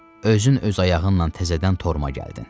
Özün öz ayağınla tələdən torma gəldin.